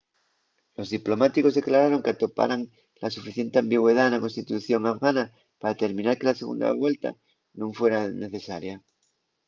los diplomáticos declararon qu’atoparan la suficiente ambigüedá na constitución afgana pa determinar que la segunda vuelta nun fuera necesaria